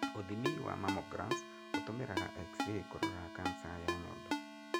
Ũthimi wa mammograms ũtũmiraga x ray kũrora cancer ya nyondo.